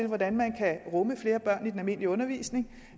hvordan man kan rumme flere børn i den almindelige undervisning